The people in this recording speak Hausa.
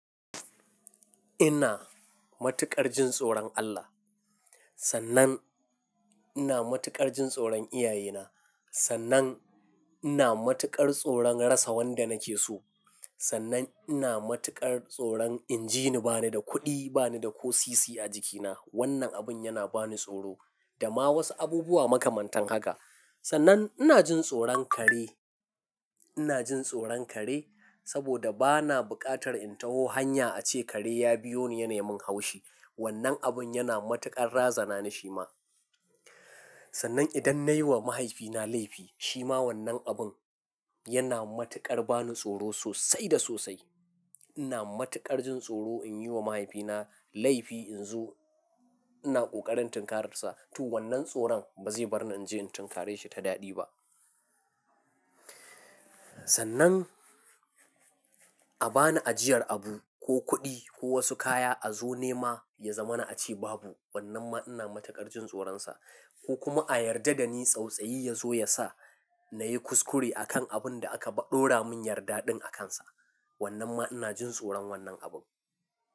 Ina matuƙar jin tsoron Allah. Sannan ina matuƙar jin tsoron iyaye na. Sannan ina matuƙar tsoron rasa wanda nake so. Sannan ina matuƙar tsoron in jini bani da kuɗi, bani da ƙo sisi a jikina. Wannan abun yana bani tsoro da ma wasu abubuwa makamantan haka. Sannan ina jin tsoron kare. Ina jin tsoron kare saboda bana buƙatar in taho hanya ace kare ya biyo ni yanai mun haushi. Wannan abun yana matuƙar razana ni shi ma. Sannan idan nayi wa mahaifina laifi, shi ma wannan abun yana matuƙar bani tsoro sosai da sosai. Ina matuƙar jin tsoro in yi wa mahaifina laifi in zo ina ƙoƙarin tinkararsa. To wannan tsoron ba zai bar ni in je in tinkare shi ta daɗi ba. Sannan a bani ajiyar abu ko kuɗi ko wasu kaya a zo nema ya zama na ace babu, wannan ma ina matuƙar jin tsoronsa. Ko kuma a yarda da ni tsautsayi ya zo ya sa na yi kuskure a kan abun da aka ɗora mun yarda ɗin akansa. Wannan ma ina jin tsoron wannan abun.